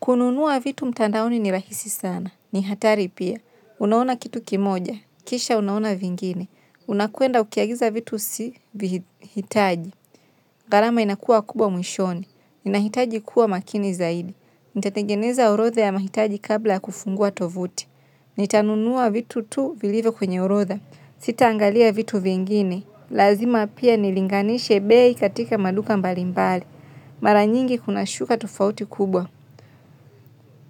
Kununua vitu mtandaoni ni rahisi sana. Ni hatari pia. Unaona kitu kimoja. Kisha unaona vingine. Unakwenda ukiagiza vitu usivihitaji. Gharama inakuwa kubwa mwishoni. Ninahitaji kuwa makini zaidi. Nitatengeneza orodha ya mahitaji kabla ya kufungua tovuti. Nitanunua vitu tu vilivyo kwenye orodha Sitaangalia vitu vingine. Lazima pia nilinganishe bei katika maduka mbalimbali. Mara nyingi kunashuka tofauti kubwa.